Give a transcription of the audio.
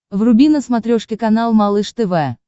вруби на смотрешке канал малыш тв